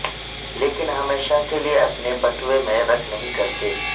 لیکن ہمیشہ کے لئے اپنے بٹوے میں رکھ نہیں کرتے